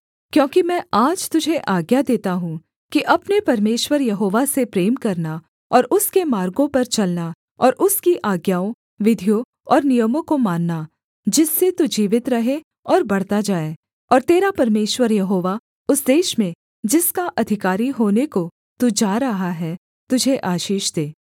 क्योंकि मैं आज तुझे आज्ञा देता हूँ कि अपने परमेश्वर यहोवा से प्रेम करना और उसके मार्गों पर चलना और उसकी आज्ञाओं विधियों और नियमों को मानना जिससे तू जीवित रहे और बढ़ता जाए और तेरा परमेश्वर यहोवा उस देश में जिसका अधिकारी होने को तू जा रहा है तुझे आशीष दे